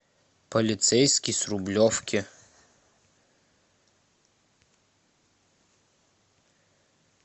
полицейский с рублевки